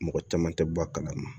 Mɔgɔ caman tɛ bɔ a kalama